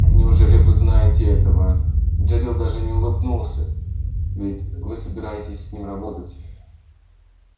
неужели вы знаете этого джерилл даже не улыбнулся ведь вы собираетесь с ним работать